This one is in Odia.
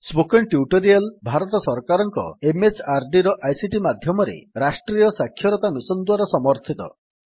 ସ୍ପୋକେନ୍ ଟ୍ୟୁଟୋରିଆଲ୍ ଭାରତ ସରକାରଙ୍କ MHRDର ଆଇସିଟି ମାଧ୍ୟମରେ ରାଷ୍ଟ୍ରୀୟ ସାକ୍ଷରତା ମିଶନ୍ ଦ୍ୱାରା ସମର୍ଥିତ